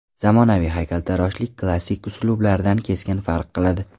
Zamonaviy haykaltaroshlik klassik uslublardan keskin farq qiladi.